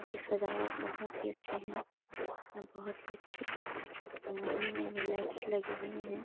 की सजावट बहुत ही अच्छे हैं यहाँ बहुत ही अच्छी महंगी-महंगी लाइट्स लगी हुई हैं ।